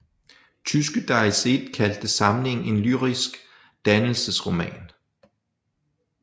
Tyske Die Zeit kaldte samlingen en lyrisk dannelsesroman